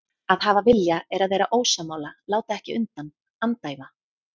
Að hafa vilja er að vera ósammála, láta ekki undan, andæfa.